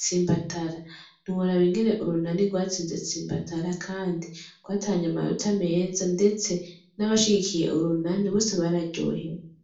tsimbatara, ntiworaba ingene urunani rwatsinze tsimbatara kandi rwatahany'amanota meza ,ndetse n'abashigikiye urunani bose bararyohewe.